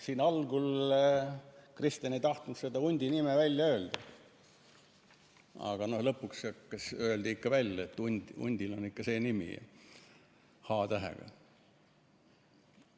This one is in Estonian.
Siin algul Kristen ei tahtnud seda hundi nime välja öelda, aga lõpuks öeldi ikka välja, et hundil on ikka see nimi, h-tähega.